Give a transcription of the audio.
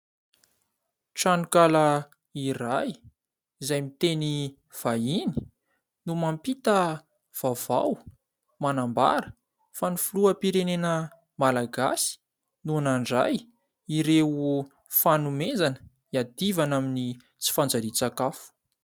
Tranokala iray izay miteny vahiny no mampita vaovao manambara fa ny filoham-pirenena malagasy no nandray ireo fanomezana hiadivana amin'ny tsy fanjarian-tsakafo.